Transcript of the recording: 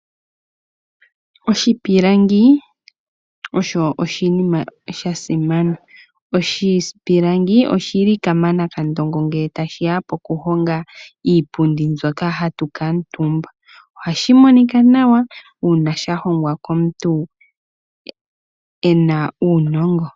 Oshipilangi osho oshinima sha simana, oshipilangi oshi li kamanakandongo ngele tashi ya pokuhonga iipundi mbyoka hatu kaatumba, ohashi monika nawa uuna sha hongwa komuntu ena uunongo.